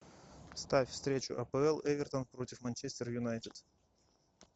ставь встречу апл эвертон против манчестер юнайтед